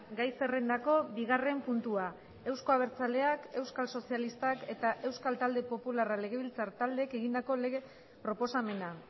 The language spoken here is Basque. gai zerrendako bigarren puntua euzko abertzaleak euskal sozialistak eta euskal talde popularra legebiltzar taldeek egindako lege proposamena